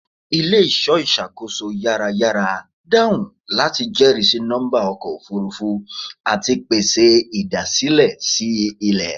Ile-iṣọ iṣakoso yarayara dahun lati jẹrisi nọmba ọkọ ofurufu ati pese idasilẹ si ilẹ